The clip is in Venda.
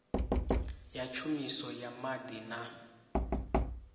ya tshumiso ya maḓi na